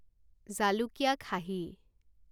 জালুকীয়া খাহী